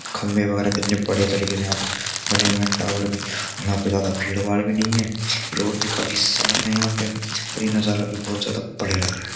खंभे वगेरा कितने बढ़िया तरीके से यहां पर बने हुए हैं यहां टावर भी यहां पर ज्यादा भीड़-भाड़ भी नहीं है रोड भी काफी साफ है यहां पे और ये नजारा भी बहुत ज्यादा बढ़िया लग रहा है।